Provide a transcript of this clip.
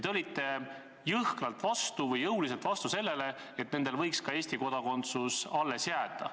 Te olite jõuliselt vastu sellele, et nendel võiks ka Eesti kodakondsus alles jääda.